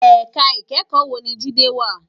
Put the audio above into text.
Èká ikèékò wó ni Jide wá?